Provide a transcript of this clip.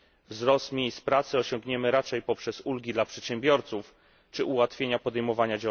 Wzrost liczby miejsc pracy osiągniemy raczej poprzez ulgi dla przedsiębiorców czy ułatwienia podejmowania...